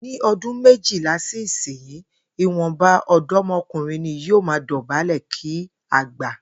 Ní o̩dún méjilá sí ìsinyìí, ìwò̩nba ò̩dó̩mo̩kùnrin ni yóò máa dò̩bálè̩ kí àgbà